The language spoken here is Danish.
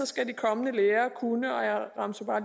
skal de kommende lærere kunne og jeg remser bare